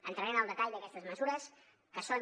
entraré en el detall d’aquestes mesures que són